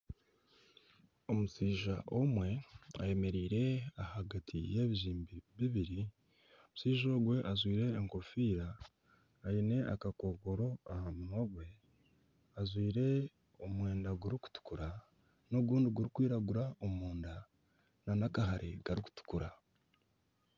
Omushaija omwe ayemereire ahagati y'ebizimbe bibiri. Omushaija ogwe ajwaire enkofiira aine akakookoro aha munwa gwe. Ajwaire omwenda gurikutukura n'ogundi gurikwiragura omunda nana akahare karikutukura.